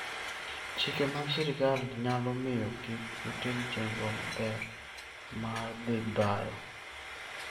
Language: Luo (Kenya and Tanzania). Chike mag sirkal nyalo miyo kik utim chenro maber mar dhi bayo.